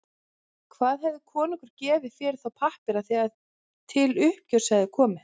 Hvað hefði konungur gefið fyrir þá pappíra þegar til uppgjörs hefði komið?